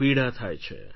પીડા થાય છે